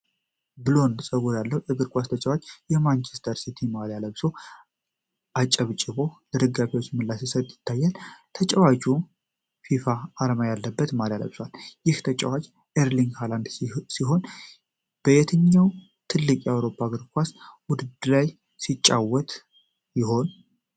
ብሎንድ ፀጉር ያለው እግር ኳስ ተጫዋች የማንቸስተር ሲቲ ማልያን ለብሶ፣ አጨብጭቦ ለደጋፊዎች ምላሽ ሲሰጥ ይታያል። ተጫዋቹ ፊፋ አርማ ያለበት ማሊያ ለብሷል። ይህ ተጫዋች ኤርሊንግ ሃይላንድ ሲሆን፣ በየትኛው ትልቅ የአውሮፓ የእግር ኳስ ውድድር ላይ ሲጫወት ይሆን?